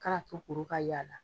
Ka n'a to kuru ka y'a la